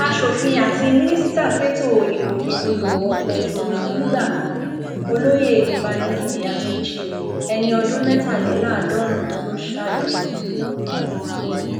aṣòfin àti mínísítà fẹtọ ìgbòkègbọdọ ọkọ òfurufú nígbà kan olóyè mbanikinè amaechi ẹni ọdún mẹtàléláàádọrùnún ló ṣáájú wọn